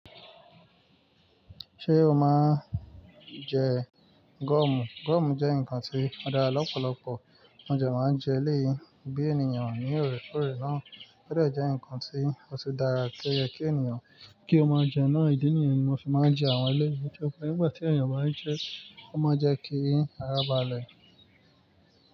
Ṣé o máa ń jẹ guọ̀mù? Gúọ̀mù jẹ́ ǹkan tí ó dára lọ́pọ̀lọpọ̀. Mo de máa ń jẹ eléyì bí ènìyàn ní òrèkóòrè náà. Ó dẹ̀ jẹ́ ǹkan tí ó tun dára ti o ye kí ènìyàn kí ó máa jẹ náà. Ìdí nìyẹn ni mo fi máa ń jẹ àwọn eléyìí. Tori pẹ nígbà tí ènìyàn bá n jẹ ẹ́, ó máa n jẹ́ kí ara balẹ̀.